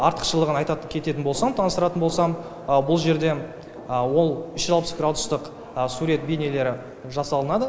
артықшылығын айта кететін болсам таныстыратын болсам бұл жерде ол үш жүз алпыс градустық сурет бейнелері жасалынады